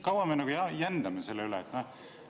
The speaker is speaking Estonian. Kaua me jändame selle üle?